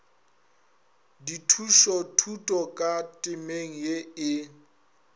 dithušothuto ka temeng ye e